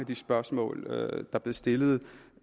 de spørgsmål der blev stillet